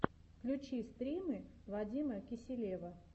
включи стримы вадима киселева